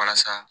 Walasa